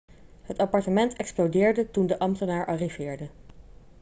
het appartement explodeerde toen de ambtenaar arriveerde